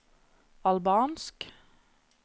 albansk